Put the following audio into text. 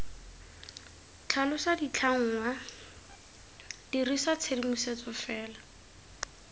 tlhalosa ditlhangwa dirisa tshedimosetso fela